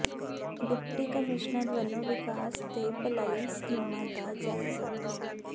deputy commissioner ਵੱਲੋਂ ਵਿਕਾਸ ਤੇ ਭਲਾਈ ਸਕੀਮਾਂ ਦਾ ਜਾਇਜ਼ਾ